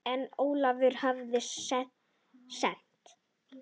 En Ólafur hafði stefnu.